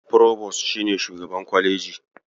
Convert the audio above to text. Forobos, shi ne shugaban kwaleji.